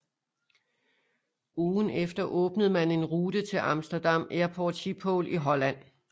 Ugen efter åbnede man en rute til Amsterdam Airport Schiphol i Holland